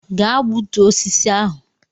Gaa gbutuo osisi ahụ!